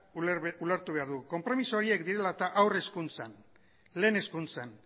ulertu behar dugu konpromiso horiek direla eta haur hezkuntzan lehen hezkuntzan